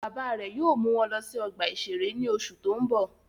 Bàbá rẹ̀ yóò mú wọn lọ sí ọgbà-ìṣeré ní oṣù tó ń bọ̀